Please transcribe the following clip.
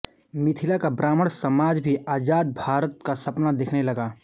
मिथिला का ब्राह्मण समाज भी आजाद भारत का सपना देखने लगा